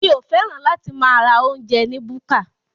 Mi ò fẹ́ràn láti máa ra oúnjẹ ni búkà.